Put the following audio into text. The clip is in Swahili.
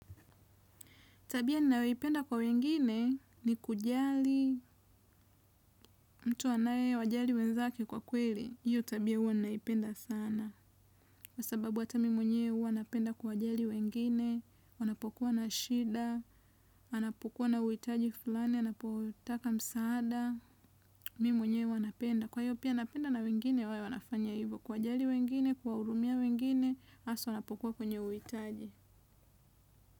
Tabia ninaweipenda kwa wengine ni kujali, mtu anaye wajali wenzake kwa kweli. Hiyo tabia uwa naipenda sana. Kwa sababu ata mi mwenye uwa napenda kuwajali wengine, wanapokuwa na shida, anapokuwa na uitaji fulani, anapotaka msaada, mimi mwenye uwa napenda. Kwa hiyo pia napenda na wengine wawe wanafanya hivyo kuwajali wengine, kuwahurumia wengine, hasa wanapokuwa kwenye uhitaji.